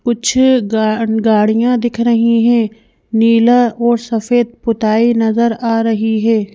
कुछ गा गाड़ियां दिख रही हैं नीला और सफेद पुताई नजर आ रही है।